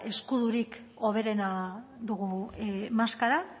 eskudorik hoberena dugu maskara